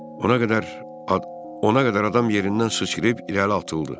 Ona qədər, ona qədər adam yerindən sıçrayıb irəli atıldı.